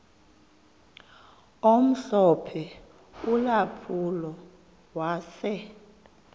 omhlophe ulampulo wase